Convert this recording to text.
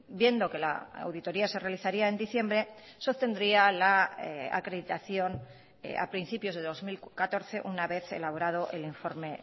viendo que la auditoría se realizaría en diciembre se obtendría la acreditación a principios de dos mil catorce una vez elaborado el informe